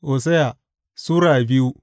Hosiya Sura biyu